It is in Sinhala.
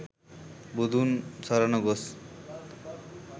බුදුන් සරණ ගොස්